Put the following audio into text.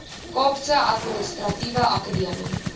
kaapse administratiewe akademie